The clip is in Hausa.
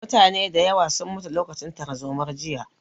Mutane da yawa sun mutu lokacin tarzomar jiya